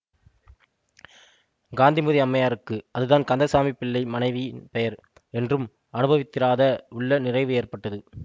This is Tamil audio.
காந்திமதி அம்மையாருக்கு அதுதான் கந்தசாமி பிள்ளை மனைவி பெயர் என்றும் அநுபவித்திராத உள்ள நிறைவு ஏற்பட்டது